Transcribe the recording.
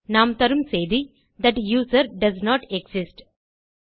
நாம் தரும் செய்தி தட் யூசர் டோஸ்ன்ட் எக்ஸிஸ்ட்